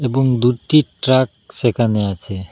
এবং দুটি ট্রাক সেখানে আছে।